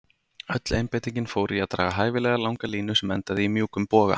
Öll einbeitingin fór í að draga hæfilega langa línu sem endaði í mjúkum boga.